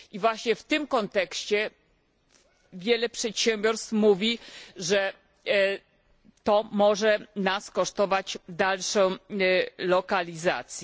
I właśnie w tym kontekście wiele przedsiębiorstw mówi, że to może nas kosztować dalsze delokalizacje.